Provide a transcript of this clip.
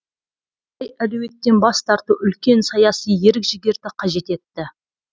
мұндай әлеуеттен бас тарту үлкен саяси ерік жігерді қажет етті